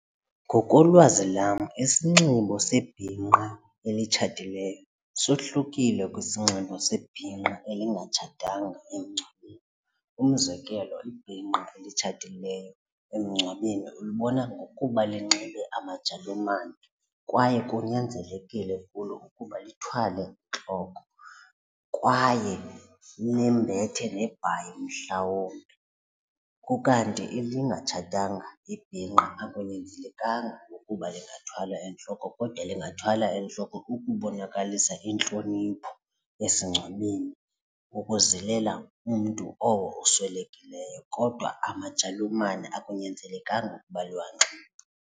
Ngokolwazi lwam isinxibo sebhinqa elitshatileyo sohlukile kwisinxibo sebhinqa elingatshatanga emngcwabeni. Umzekelo ibhinqa elitshatileyo emngcwabeni ulibona ngokuba linxibe amajalumane kwaye kunyanzelekile kulo ukuba lithwale entloko kwaye lembethe nebhayi mhlawumbi. Ukanti elingatshatanga ibhinqa akunyanzelekanga ukuba lingathwala entloko kodwa lingathwala entloko ukubonakalisa intlonipho esingcwabeni ukuzilela umntu oswelekileyo kodwa amajalumane akunyanzelekanga ukuba liwanxibe.